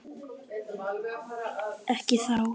Ekki þá.